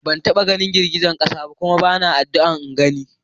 Ban taɓa ganin girgizan ƙasa ba kuma bana addu'an na gani.